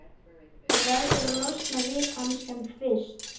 Þú verður að losna við hann sem fyrst.